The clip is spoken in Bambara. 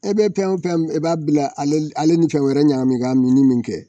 E be pɛn o pɛn e b'a bila ale l ale ni fɛn wɛrɛ ɲagami k'a minni min kɛ